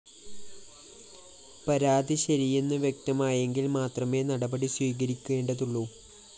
പരാതി ശരിയെന്നു വ്യക്തമായെങ്കില്‍ മാത്രമേ നടപടി സ്വീകരിക്കേണ്ടതുള്ളു